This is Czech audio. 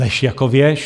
Lež jako věž.